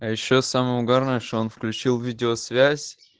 а ещё самое угарное что он включил видеосвязь